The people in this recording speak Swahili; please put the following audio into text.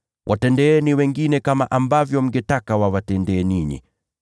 Watendeeni wengine kama ambavyo mngetaka wawatendee ninyi.